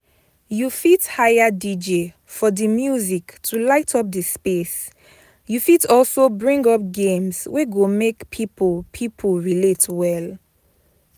You fit hire DJ for di music to light up the place you fit also bring up games wey go make pipo pipo relate well